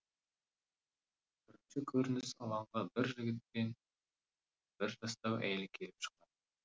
бірінші көрініс алаңға бір жігіт пен бір жастау әйел келіп шығады